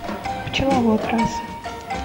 пчеловод раса